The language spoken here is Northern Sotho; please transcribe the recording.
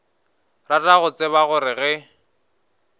rata go tseba gore ge